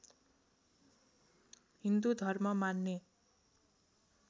हिन्दू धर्म मान्ने